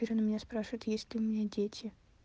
теперь он у меня спрашивает есть ли у меня дети